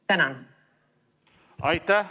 Tänan!